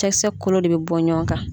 Cɛkisɛ kolo de bɛ bɔ ɲɔgɔn kan